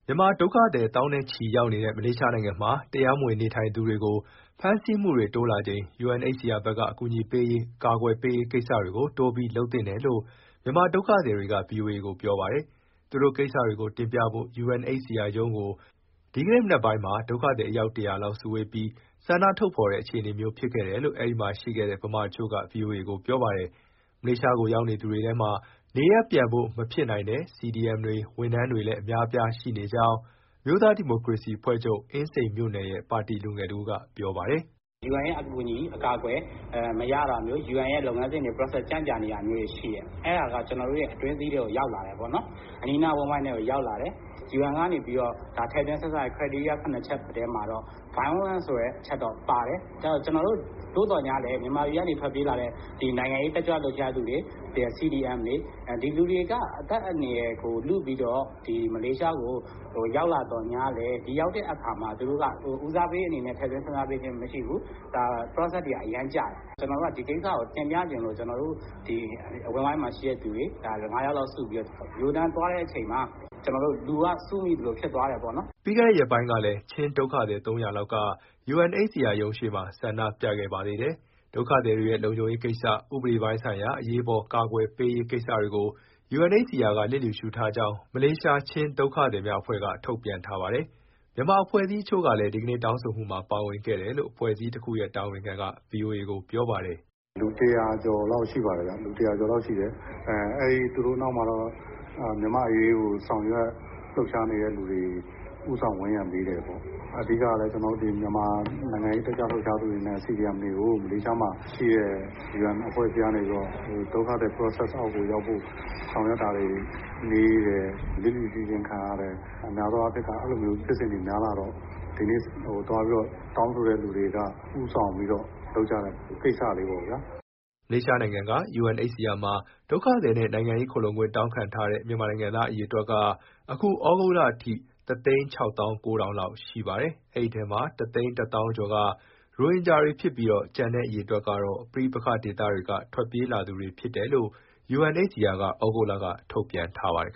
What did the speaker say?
မြန်မာဒုက္ခသည် သောင်းနဲ့ချီ ရောက်နေတဲ့ မလေးရှားနိုင်ငံမှာ တရားမဝင် နေထိုင်သူတွေကို ဖမ်းဆီးမှုတွေတိုးလာချိန် UNHCR ဘက်က အကူအညီပေးရေး၊ အကာအကွယ်ပေးရေး ကိစ္စတွေကို တိုးပြီး လုပ်သင့်တယ်လို့ မြန်မာဒုက္ခသည်တွေက ဗွီအိုအေကို ပြောပါတယ်။ သူတို့ကိစ္စတွေကိုတင်ပြဖို့ UNHCR ရုံးကို ဒီနေ့ မနက်ပိုင်းမှာ ဒုက္ခသည် အယောက် ၁၀၀လောက် စုဝေးပြီး ဆန္ဒထုတ်ဖော်တဲ့ အခြေအနေမျိုး ဖြစ်ခဲ့တယ်လို့ အဲဒီမှာ ရှိခဲ့တဲ့ မြန်မာတချို့က ဗွီအိုအေကို ပြောပါတယ်။ မလေးရှားကို ရောက်လာသူတွေထဲမှာ နေရပ်ပြန်ဖို့ မဖြစ်နိုင်တဲ့ CDM တွေ၊ ဝန်ထမ်းတွေလည်း အများအပြား ရှိနေကြောင်း အမျိုးသားဒီမိုကရေစီ အဖွဲ့ချုပ်၊ အင်းစိန်မြို့နယ်ရဲ့ ပါတီလူငယ်တဦးက ပြောပါတယ်။ " UN ရဲ့အကူအညီမရတာမျိုး၊ UN ရဲ့လုပ်ငန်းစဉ် ကြန့်ကြာတာမျိုးတွေ ရှိတယ်။ အဲဒါက ကျနော်တို့ရဲ့ အတွင်းစည်းထဲကို ရောက်လာတယ်ပေါ့၊ အနီးအနား အဝန်းအဝိုင်းထဲကို ရောက်လာတယ်။ UN ကထည့်သွင်းစဉ်းစားတဲ့ အချက်၇ချက်ထဲမှာ Voilence ဆိုတဲ့ အချက်တော့ပါတယ်။ သို့သော်ငြားလည်း မြန်မာပြည်က ထွက်ပြေးလာတဲ့ နိုင်ငံရေး တက်ကြွလှုပ်ရှားသူတွေ၊ CDMတွေ ဒီလူတွေက အသက်အန္တရာယ်ကို လုပြီးတော့ မလေးရှားကို ရောက်လာသော်ငြားလည်း ဦးစားပေးအနေနဲ့ ထည့်သွင်းစဉ်းစားပေးခြင်း မရှိဘူး။ process တွေက အရမ်းကြာတယ်။ ဒီကိစ္စကို တင်ပြချင်လို့ ကျနော်တို့ အဝန်းအဝိုင်းမှာရှိတဲ့သူတွေ ငါးယောက်လောက်စုပြီး ရိုးရိုးတန်းတန်း သွားတဲ့အချိန်မှာ လူက စုမိသလို ဖြစ်သွားတယ်ပေါ့နော်။" ပြီးခဲ့တဲ့ရက်ပိုင်းကလည်း ချင်းဒုက္ခသည် ၃၀၀လောက်က UNHCR ရုံးရှေ့မှာ ဆန္ဒပြခဲ့ပါသေးတယ်။ ဒုက္ခသည်တွေရဲ့ လုံခြုံရေးကိစ္စ၊ ဥပဒေပိုင်းဆိုင်ရာ အရေးပေါ် အကာအကွယ်ပေးရေး ကိစ္စတွေကို UNHCR က လျစ်လျူရှုခဲ့ကြောင်း မလေးရှား ချင်းဒုက္ခသည်များအဖွဲ့က ထုတ်ပြန်ထားပါတယ်။ မြန်မာအဖွဲ့အစည်းတချို့လည်း ဒီကနေ့ တောင်းဆိုမှုမှာ ပါဝင်ခဲ့တယ်လို့ အဖွဲ့အစည်းတခုရဲ့ တာဝန်ခံက ဗွီအိုအေကို ပြောပါတယ်။ " လူ ၁၀၀ကျော်လောက် ရှိပါတယ်ဗျ၊ သူတို့နောက်မှာတော့ မြန်မာ့အရေးကို ဆောင်ရွက် လှုပ်ရှားနေသူတွေ ဦးဆောင်ဝန်းရံပေးတယ်ပေါ့။ အဓိကတော့ မြန်မာနိုင်ငံရေး တက်ကြွလှုပ်ရှားသူတွေနဲ့ CDMတွေကို မလေးရှားမှာရှိတဲ့ UN အဖွဲ့အစည်းကနေပြီးတော့ ဒုက္ခသည် process အောက်ကိုရောက်ဖို့ ဆောင်ရွက်တာတွေနှေးတယ်၊ လျစ်လျူရှုခြင်း ခံရတယ်၊ အဲလိုဖြစ်စဉ်တွေ များလာတော့ ဒီနေ့သွားပြီး တောင်းဆိုတဲ့သူတွေက ဦးဆောင်ပြီးလုပ်ကြတဲ့ ကိစ္စလေးပေါ့ဗျာ။" မလေးရှားနိုင်ငံက UNHCR မှာ ဒုက္ခသည်နဲ့ နိုင်ငံရေး ခိုလှုံခွင့် တောင်းခံထားတဲ့ မြန်မာနိုင်ငံသား အရေအတွက်က အခု ဩဂုတ်လအထိ ၁၆၉,၀၀၀ လောက်ရှိပါတယ်။ ဒီထဲမှာ ၁၁၀,၀၀၀ ကျော်က ရိုဟင်ဂျာတွေဖြစ်ပြီး၊ ကျန်တဲ့အရေအတွက်ကတော့ ပဋိပက္ခဒေသက ထွက်ပြေးလာသူတွေ ဖြစ်တယ်လို့ UNHCR က သြဂုတ်လက ထုတ်ပြန်ထားပါတယ်